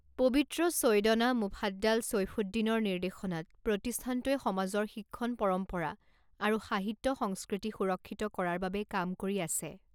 পবিত্ৰ চৈয়দনা মুফাদ্দাল চৈফুদ্দিনৰ নিৰ্দেশনাত, প্ৰতিষ্ঠানটোৱে সমাজৰ শিক্ষণ পৰম্পৰা আৰু সাহিত্য সংস্কৃতি সুৰক্ষিত কৰাৰ বাবে কাম কৰি আছে।